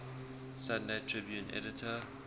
sunday tribune editor